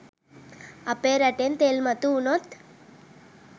අපේ රටෙන් තෙල් මතු වුනොත්